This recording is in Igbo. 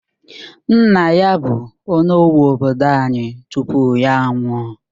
Nna ya bu onowu obodo anyi tupu ya nwụọ